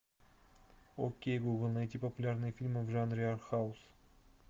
окей гугл найти популярные фильмы в жанре арт хаус